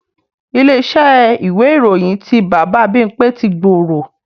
Ilé-iṣẹ́ ìwé ìròyìn ti Bàbá Bímpé ti gbòòrò